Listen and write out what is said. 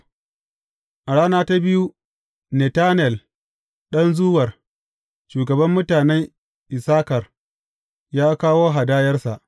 A rana ta biyu, Netanel ɗan Zuwar, shugaban mutanen Issakar, ya kawo hadayarsa.